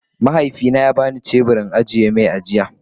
mahaifi na ya bani shebur in agi-mai jiya.